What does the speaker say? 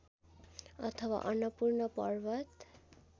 अथवा अन्नपूर्ण पर्वत